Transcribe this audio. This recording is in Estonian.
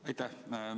Aitäh!